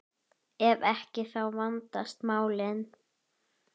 Ef ekki, þá vandast málin.